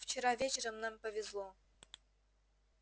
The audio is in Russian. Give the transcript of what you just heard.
вчера вечером нам повезло